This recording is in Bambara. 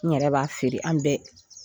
N yɛrɛ b'a feere an bɛɛ